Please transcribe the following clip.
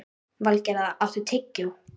Valgerða, áttu tyggjó?